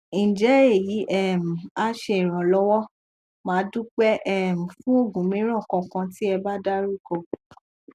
nje eyi um a se iranlowo madupe um fun ogun miran kan kan ti eba daruko